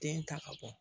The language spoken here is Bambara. Den ta ka bɔ